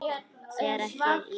Sér ekki í hvítt.